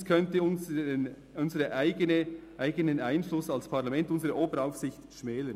Es könnte unseren eigenen Einfluss als Parlament, unserer Oberaufsicht, schmälern.